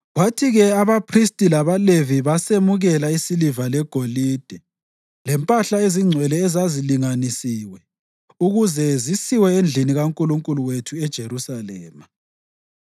Kwathi-ke abaphristi labaLevi basemukela isiliva legolide lempahla ezingcwele ezazilinganisiwe ukuze zisiwe endlini kaNkulunkulu wethu eJerusalema.